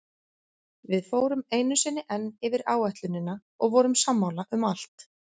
Við fórum einu sinni enn yfir áætlunina og vorum sammála um allt.